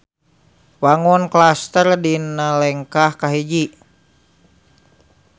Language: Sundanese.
Wangun klaster dina lengkah kahiji.